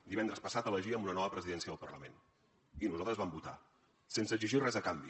divendres passat elegíem una nova presidència del parlament i nosaltres vam votar sense exigir res a canvi